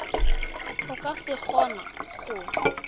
o ka se kgone go